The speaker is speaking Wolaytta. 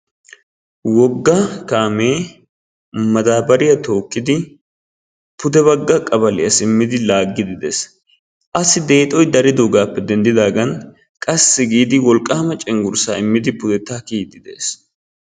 Wogga kaame madabariya tookkidi pude bagga kabaliya simmidi laagide de'ees. Assi deexoy daridoogappe denddidaagan qassi wolqqama cenggurssa immidi pudetta kiyiidi de'ees.